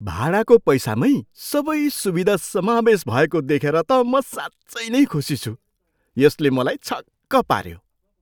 भाडाको पैसामै सबै सुविधा समावेश भएको देखेर त म साँच्चै नै खुसी छु। यसले मलाई छक्क पाऱ्यो!